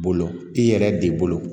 Bolo i yɛrɛ de bolo